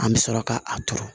An bɛ sɔrɔ ka a turu